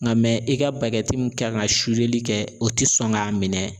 Nka i ka bakɛ min kan ka kɛ o tɛ sɔn k'a minɛ.